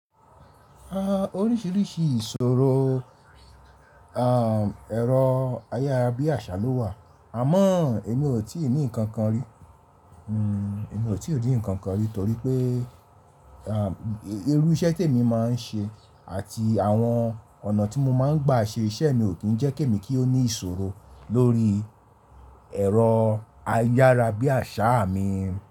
Oríṣìíríṣìí ìṣòro, à, ẹ̀rọ ayárabíàṣá ló wà àmọ́ èmi ò tí ì ní ǹkan kan rí. Èmi ò tí ní ǹkan kan rí torí pé, à, irú iṣẹ́ tí èmi máa ń ṣe àti àwọn ọ̀nà tí mo máa ń gbà ṣe iṣẹ́ mi ò kí ń jẹ́ kí èmi kí ó ní ìṣòro lórí ẹ̀rọ ayárabíàṣá mi.